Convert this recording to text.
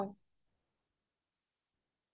ঘৰাত উথি আমি গৈছিলো পাহাৰৰ ওপৰত